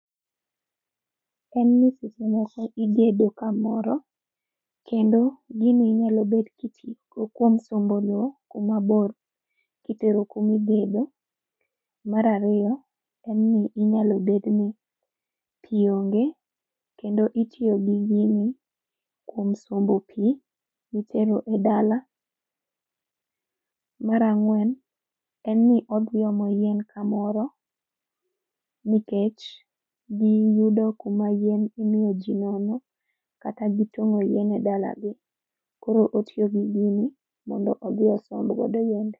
En ni seche moko igedo kamoro, kendo gini inyalo bet giti go kuom sombo loo kumabor kitero kumi igedo. Mar ariyo, en ni inyalo bedni pii onge kendo itiyo gi gini kuom sombo pii mitero e dala mar ang'wen, en ni odhi omo yien kamoro, nikech gi yudo kuma yien imiyo jii nono, kata gitong'o yien e dala gi. Koro otiyo gi gini, mondo odhi osomb godo yiende